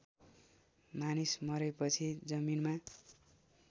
मानिस मरेपछि जमिनमा